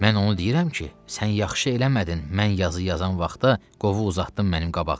Mən onu deyirəm ki, sən yaxşı eləmədin, mən yazı yazan vaxtı qovu uzatdın mənim qabağıma.